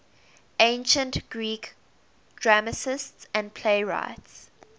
ancient greek dramatists and playwrights